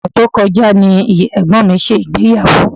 Ọṣẹ̀ tí ó lọ ni ẹ̀gbọ́n mi ṣe ìgbéyàwó